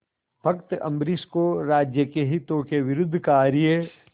भक्त अम्बरीश को राज्य के हितों के विरुद्ध कार्य